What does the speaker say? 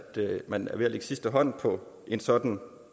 man er ved at lægge sidste hånd på en sådan